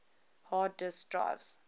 hard disk drives